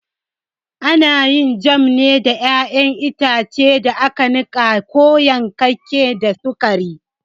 Ana yin jam ne daga ƴaƴan itace da aka niƙa ko yankakken da sukari.